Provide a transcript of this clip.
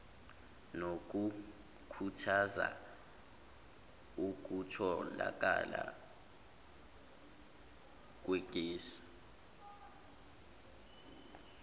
nokukhuthaza ukutholakala kwegesi